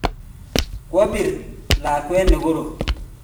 Kwa bir lakwet ne korom